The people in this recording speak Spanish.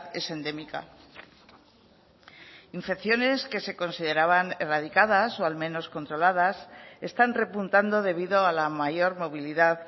es endémica infecciones que se consideraban erradicadas o al menos controladas están repuntando debido a la mayor movilidad